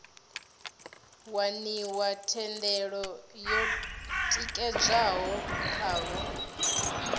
waniwa thendelo yo tikedzwaho khavho